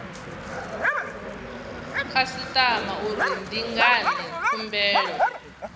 khasitama uri ndi ngani khumbelo